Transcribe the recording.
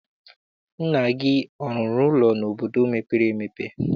Nna gị arụrụ ụlọ n'obodo mepere emepe?